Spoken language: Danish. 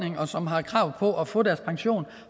og som har krav på at få deres pension